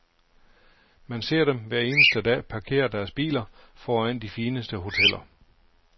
Man ser dem hver eneste dag parkere deres biler foran de fineste hoteller.